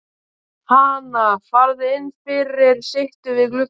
Hana, farðu inn fyrir, sittu við gluggann.